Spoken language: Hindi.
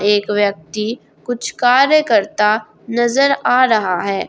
एक व्यक्ति कुछ कार्य करता नजर आ रहा है।